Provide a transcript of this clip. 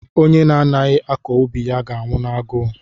Onye na-adịghị akọ ubi ya ga-anwụ n'agụụ.